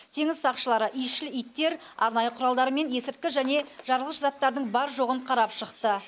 теңіз сақшылары иісшіл иттер арнайы құралдарымен есірткі және жарылғыш заттардың бар жоғын қарап шықты